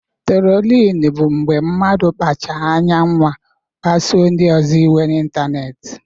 Trolin bụ mgbe mmadụ kpachaara anya nwaa ịkpasu ndị ọzọ iwe n'ịntanetị.